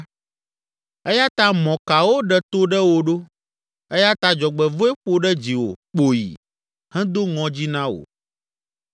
Eya ta mɔkawo ɖe to ɖe wò ɖo eya ta dzɔgbevɔ̃e ƒo ɖe dziwò kpoyi hedo ŋɔdzi na wò